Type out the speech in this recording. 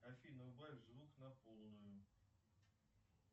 афина убавь звук на полную